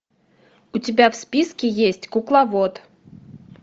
у тебя в списке есть кукловод